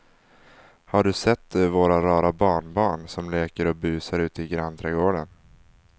Har du sett våra rara barnbarn som leker och busar ute i grannträdgården!